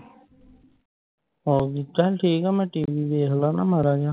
ਹੋਰ ਚਲ ਠੀਕ ਆ ਮੈਂ TV ਵੇਖਲਾ ਨਾ ਮਾੜਾ ਜਿਯਾ